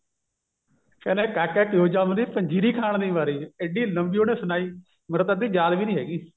ਕਹਿੰਦਾ ਕਾਕਾ ਕਿਉ ਜੰਮਦੀ ਪੰਜੀਰੀ ਖਾਣ ਦੀ ਮਾਰੀ ਇੱਡੀ ਲੰਬੀ ਉਹਨੇ ਸੁਨਾਈ ਮੇਰੇ ਤਾਂ ਅੱਧੀ ਯਾਦ ਵੀ ਨੀ ਹੈਗੀ